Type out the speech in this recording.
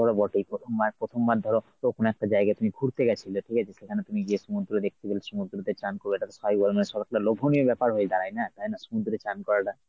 ধর বটেই। প্রথমবার প্রথমবার ধর প্রথম একটা জায়গায় তুমি ঘুরতে গেছিলে ঠিকাছে সেখানে তুমি যে সমুদ্র দেখতে গেলে সমুদ্রতে চান করলে এটা তো স্বাভাবিক লোভনীয় ব্যপার হয়ে দাঁড়ায় না? তাই না সমুদ্রে চান করাটা?